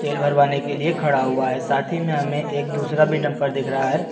तेल भरवाने के लिए खड़ा हुआ है साथ ही में हमें एक दूसरा भी डंपर दिख रहा है।